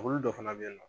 Olu dɔ fana bɛ yen nɔ